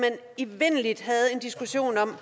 evindelig diskussion om